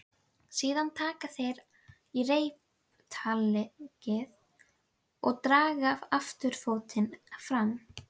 Síðan taka þeir í reiptaglið og draga afturfótinn fram.